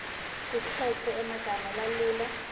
kukhetfwe emagama lalula